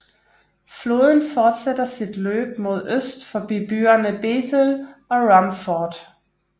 Floden fortsætter sit løb mod øst forbi byerne Bethel og Rumford